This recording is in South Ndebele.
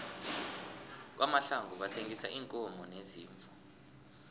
kwamahlangu bathengisa iinkomo neziimvu